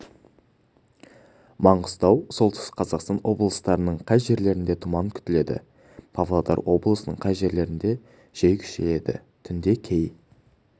маңғыстау солтүстік қазақстан облыстарының кей жерлерінде тұман күтіледі павлодар облысының кей жерлерінде жел күшейеді түнде кей